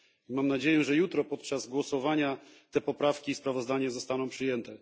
Mam nadzieję, że jutro podczas głosowania te poprawki i sprawozdanie zostaną przyjęte.